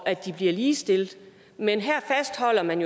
ligestille dem men her fastholder man